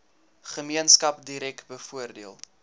gemeenskap direk bevoordeel